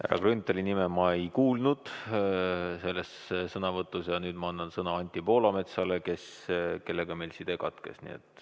Härra Grünthali nime ma ei kuulnud selles sõnavõtus ja nüüd ma annan sõna Anti Poolametsale, kellega meil side katkes.